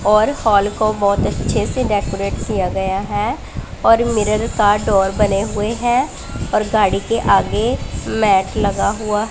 और हॉल को बहोत अच्छे से डेकोरेट किया गया है और मिरर का डोर बने हुए है और गाड़ी के आगे मैट लगा हुआ --